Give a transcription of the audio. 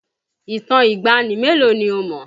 Ìtàn ìgbàanì mélòó ni o mọ̀?